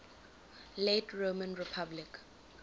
late roman republic